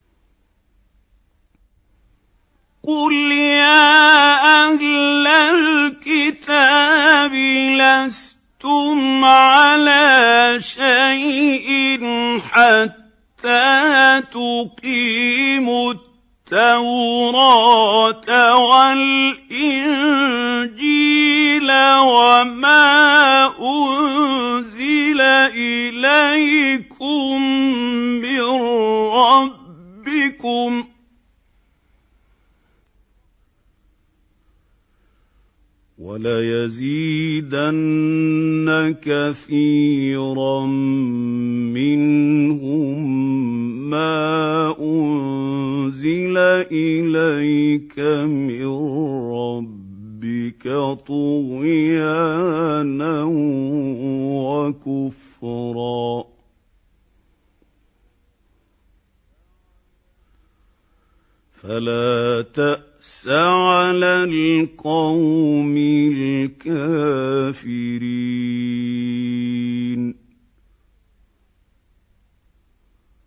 قُلْ يَا أَهْلَ الْكِتَابِ لَسْتُمْ عَلَىٰ شَيْءٍ حَتَّىٰ تُقِيمُوا التَّوْرَاةَ وَالْإِنجِيلَ وَمَا أُنزِلَ إِلَيْكُم مِّن رَّبِّكُمْ ۗ وَلَيَزِيدَنَّ كَثِيرًا مِّنْهُم مَّا أُنزِلَ إِلَيْكَ مِن رَّبِّكَ طُغْيَانًا وَكُفْرًا ۖ فَلَا تَأْسَ عَلَى الْقَوْمِ الْكَافِرِينَ